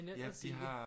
Men ellers ikke